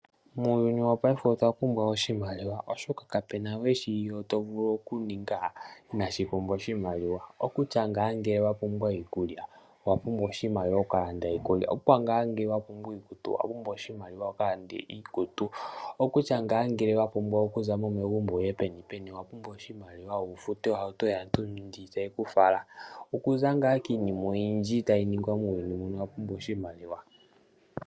Muuyuni wopaife otwa pumbwa oshimaliwa, oshoka kapu na we shoka tatu vulu okuninga inaashi pumbwa oshimaliwa. Uuna wa pumbwa iikulya, owa pumbwa oshimaliwa, opo wu ka lande iikutu. Ngele owa pumbwa iikutu owa pumbwa oshimaliwa wu ka lande iikutu, ngele owa hala okuza mo megumbo wu ye penipeni owa pumbwa oshimaliwa wu fute ohauto yaantu ndjoka tayi ku fala. Iinima oyindji tayi ningwa muuyuni muka owa pumbwa oshimaliwa.